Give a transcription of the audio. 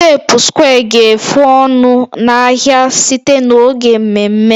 teepu square ga-efu ọnụ n'ahịa site n'oge mmemme